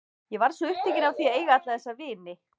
Ég varð svo upptekin af því að eiga alla þessa vini.